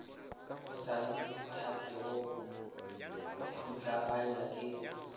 o sa nthatego putlaganya ke